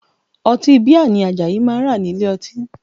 Ọtí bíà ni Àjàyí máa rà nílé ọtí